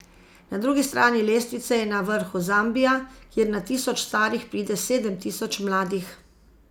Na drugi strani lestvice je na vrhu Zambija, kjer na tisoč starih pride sedem tisoč mladih.